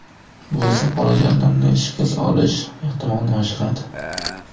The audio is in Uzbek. Bu esa bolajonlarning shikast olish ehtimolini oshiradi.